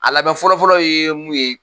A labɛn fɔlɔ-fɔlɔ ye mun ye